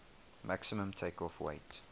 maximum takeoff weight